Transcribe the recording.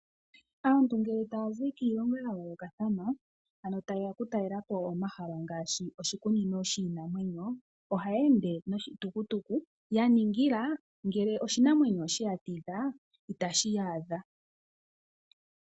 Aantu ngele taya zi kiilongo ya yoolokathana ano taye ya oku talela po omahala ngaashi oshikunino shiinamwenyo ohaya ende noshitukutuku ya ningila ngele oshinamwenyo osheya tidha itashi yaadha.